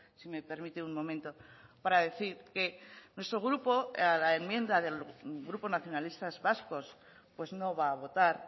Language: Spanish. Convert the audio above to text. si me permite un momento para decir que nuestro grupo a la enmienda del grupo nacionalistas vascos pues no va a votar